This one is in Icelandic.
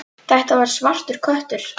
Þetta var svartur köttur.